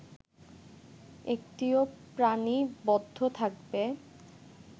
একটিও প্রাণী বদ্ধ থাকবে